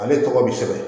Ale tɔgɔ bi sɛbɛn